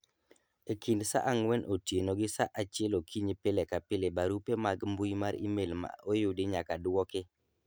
e kind saa ang'wen otieno gi saa achiel okinyi pile ka pile barupe mag mbui mar email ma oyudi nyaka dwoki